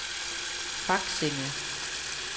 Faksinge